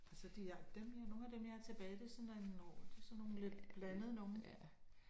Altså de har altså dem nogen af dem jeg har tilbage det sådan det er sådan nogen lidt blandede nogen